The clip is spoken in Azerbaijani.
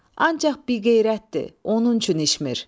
Ancaq biqeyrətdir, onun üçün içmir.